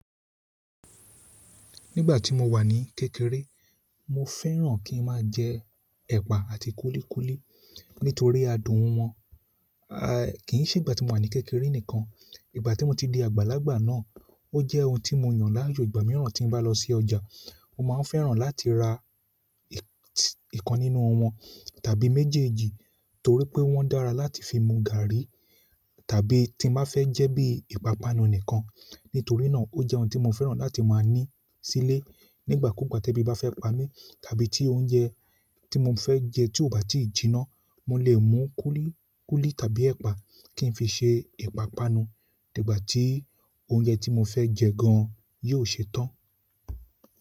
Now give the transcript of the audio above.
Nígbà tí mo wà ní kékeré, mo fẹ́ràn kí n máa jẹ ẹ̀pà àti kúlíkúlí nítorí adùn wọn. Aì, kì í ṣe ìgbà tí mo wà ní kékeré nìkan, ìgbà tí mo ti di àgbàlagbà náà, ó jẹ́ ohun tí mo yàn lájú ìgbà mìíràn tí bá lọ sí ọjà, mo máa fẹ́ràn láti ra ìkàn nínú wọn tàbí méjèèjì torí pé wọ́n dára láti fi mú gààrí tàbí tí mo fẹ́ jẹ́ bí ìpápánu nìkan. Nítorínà ó jẹ́ ohun tí mo fẹ́ràn láti máa ní sílé nígbà kúú gbà tí ebi bá fẹ́ pa mí tàbí tí oúnjẹ tí mo fẹ́ jẹ tí ò bá tí ì jiná, mo lè mú kúlíkúlí tàbí ẹ̀pà kí n fi ṣe ìpápánu nígbà tí oúnjẹ tí mo fẹ́ jẹ gan yóò ṣe tán.